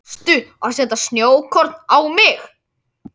Varstu að setja snjókorn á mig?